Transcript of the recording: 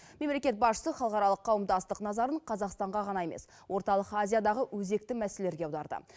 мемлекет басшысы халықаралық қауымдастық назарын қазақстанға ғана емес орталық азиядағы өзекті мәселелерге аударды